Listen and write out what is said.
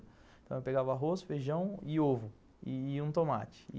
Eu pegava arroz, feijão e ovo, e um tomate.